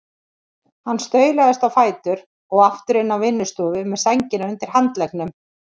Hann staulaðist á fætur og aftur inn á vinnustofu með sængina undir handleggnum.